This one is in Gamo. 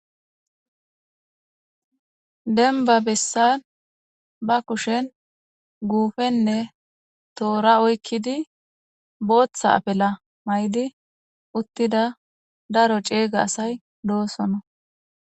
denba bessan ba kushen guufenne toora oykkidi booththa apela may7di uttida daro ceeyga asay doosono